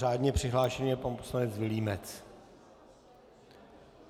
Řádně přihlášený je pan poslanec Vilímec.